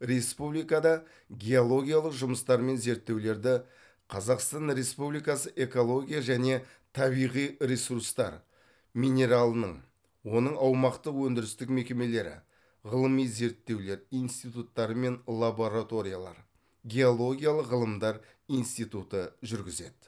республикада геологиялық жұмыстар мен зерттеулерді қазақстан республикасы экология және табиғи ресурстар минералының оның аумақтық өндірістік мекемелері ғылыми зерттеулер институттары мен лабораториялар геологиялық ғылымдар институты жүргізеді